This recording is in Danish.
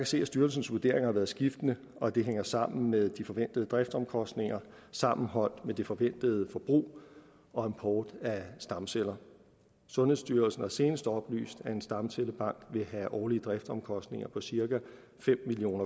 se at styrelsens vurderinger har været skiftende og at det hænger sammen med de forventede driftsomkostninger sammenholdt med det forventede forbrug og import af stamceller sundhedsstyrelsen har senest oplyst at en stamcellebank vil have årlige driftsomkostninger på cirka fem million